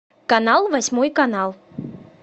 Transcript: канал восьмой канал